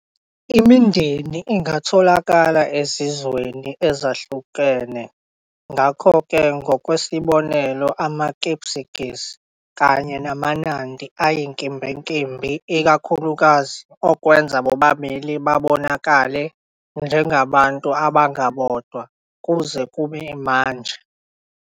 Imindeni ingatholakala ezizweni ezahlukahlukene ngakho-ke, ngokwesibonelo, amaKipsigis kanye namaNandi ayinkimbinkimbi ikakhulukazi okwenza bobabili babonakale njengabantu abangabodwa kuze kube manje.